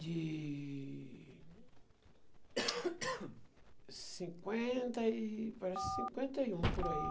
De... cinquenta e... Parece cinquenta e um, por aí.